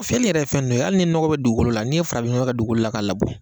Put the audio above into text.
Fɛn in yɛrɛ ye fɛn dɔ ye hali ni nɔgɔ bɛ dugukolo la n'i farafinnɔgɔ kɛ dugu la k'a labɔ